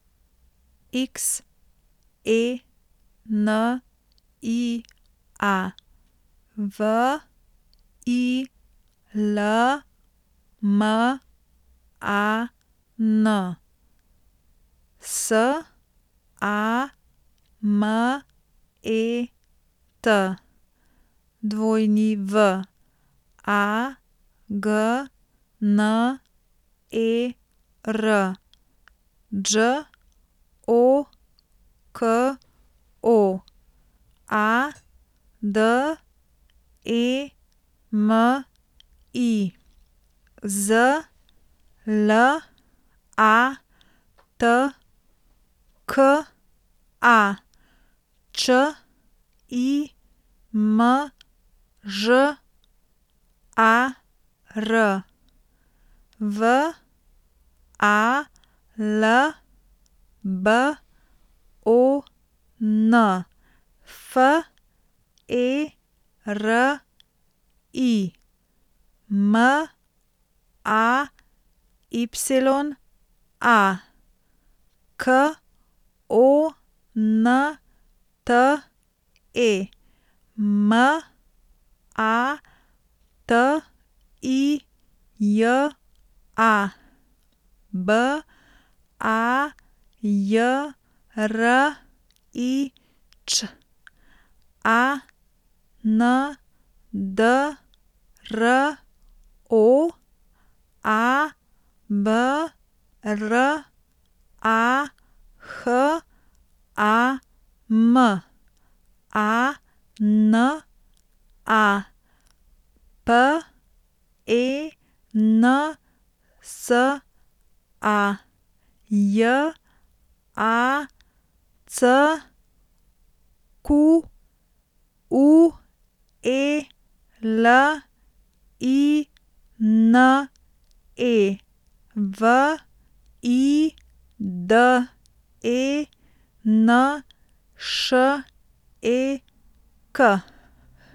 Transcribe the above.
X E N I A, V I L M A N; S A M E T, W A G N E R; Đ O K O, A D E M I; Z L A T K A, Č I M Ž A R; V A L B O N, F E R I; M A Y A, K O N T E; M A T I J A, B A J R I Ć; A N D R O, A B R A H A M; A N A, P E N S A; J A C Q U E L I N E, V I D E N Š E K.